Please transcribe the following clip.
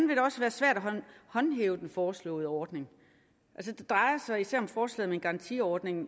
vil det også være svært at håndhæve den foreslåede ordning det drejer sig især om forslaget om en garantiordning og